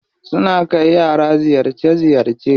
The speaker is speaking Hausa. Suna kai yara ziyarce ziyarce.